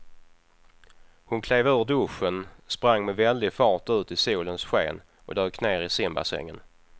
Hon klev ur duschen, sprang med väldig fart ut i solens sken och dök ner i simbassängen.